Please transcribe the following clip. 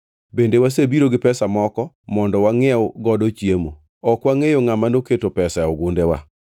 Bende wasebiro gi pesa moko mondo wangʼiew godo chiemo. Ok wangʼeyo ngʼama noketo pesa e gundewa.”